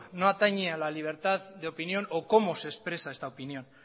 no atañe a la libertad de opinión o cómo se expresa esta opinión